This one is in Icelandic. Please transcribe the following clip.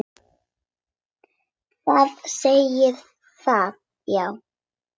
Þið segið það, já.